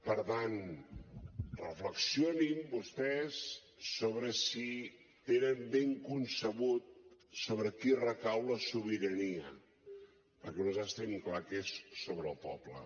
per tant reflexionin vostès sobre si tenen ben concebut sobre qui recau la sobirania perquè nosaltres tenim clar que és sobre el poble